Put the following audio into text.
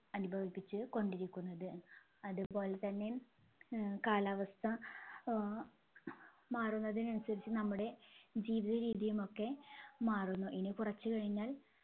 അനുഭവിപ്പിച്ച് കൊണ്ടിരിക്കുന്നത് അതുപോലെതന്നെ ഏർ കലാവസ്ഥ ഏർ മാറുന്നതിന് അനുസരിച്ച് നമ്മുടെ ജീവിതരീതിയുമൊക്കെ മാറുന്നു ഇനി കുറച്ച് കഴിഞ്ഞാൽ